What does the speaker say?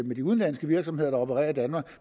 med de udenlandske virksomheder der opererer i danmark